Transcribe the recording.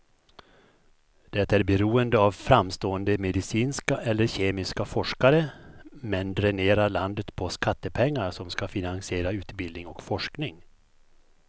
Det är beroende av framstående medicinska eller kemiska forskare, men dränerar landet på skattepengar som ska finansiera utbildning och forskning.